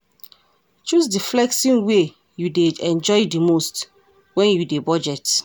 Choose di flexing wey you dey enjoy di most when you dey budget